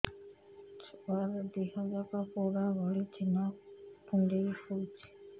ଛୁଆର ଦିହ ଯାକ ପୋଡା ଭଳି ଚି଼ହ୍ନ କୁଣ୍ଡେଇ ହଉଛି